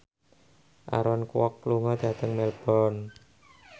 Aaron Kwok lunga dhateng Melbourne